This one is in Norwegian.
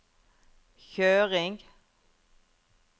kjøring